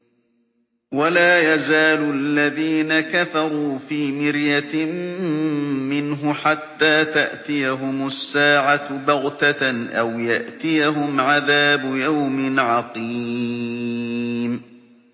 وَلَا يَزَالُ الَّذِينَ كَفَرُوا فِي مِرْيَةٍ مِّنْهُ حَتَّىٰ تَأْتِيَهُمُ السَّاعَةُ بَغْتَةً أَوْ يَأْتِيَهُمْ عَذَابُ يَوْمٍ عَقِيمٍ